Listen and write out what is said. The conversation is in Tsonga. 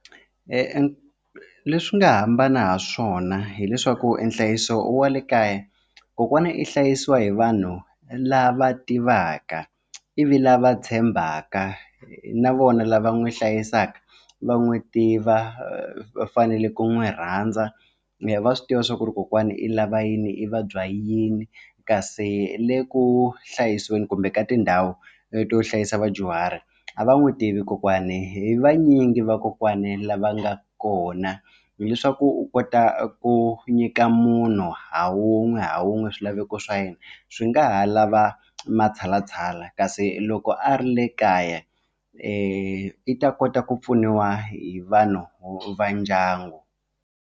leswi nga hambana hi swona hileswaku nhlayiso wa le kaya kokwana i hlayisiwa hi vanhu lava tivaka ivi lava tshembaka na vona lava n'wi hlayisaka va n'wi tiva va fanele ku n'wi rhandza va swi tiva swa ku ri kokwana i lava yini i vabya yini kasi le ku hlayiseni kumbe ka tindhawu to hlayisa vadyuhari a va n'wi tivi kokwani hi vanyingi vakokwani lava nga kona hileswaku u kota ku nyika munhu ha wun'we ha wun'we swilaveko swa yena swi nga ha lava matshalatshala kasi loko a ri le kaya i ta kota ku pfuniwa hi vanhu va ndyangu.